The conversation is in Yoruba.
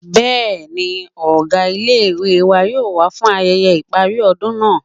Bẹ́ẹ̀ni, ọgá ilé-ìwé wa yóò wá fún ayẹyẹ ìparí ọdún náà